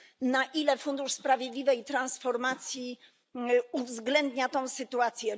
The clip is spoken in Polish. Na ile fundusz sprawiedliwej transformacji uwzględnia tę sytuację?